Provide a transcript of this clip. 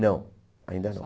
Não, ainda não.